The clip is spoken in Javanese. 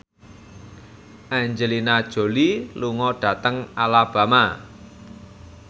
Angelina Jolie lunga dhateng Alabama